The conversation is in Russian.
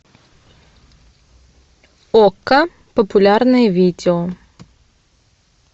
окко популярные видео